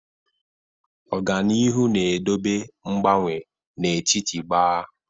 Ọga n'ihu na-edobe ngbanwe n'etiti gbaa.